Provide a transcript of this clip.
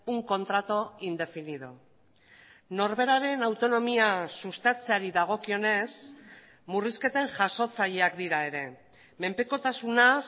un contrato indefinido norberaren autonomia sustatzeari dagokionez murrizketen jasotzaileak dira ere menpekotasuna